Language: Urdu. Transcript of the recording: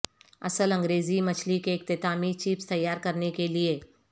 اصل انگریزی مچھلی کے اختتامی چپس تیار کرنے کے لئے